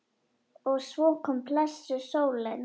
Og svo kom blessuð sólin!